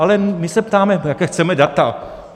Ale my se ptáme, jaká chceme data.